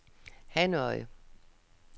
Hanoi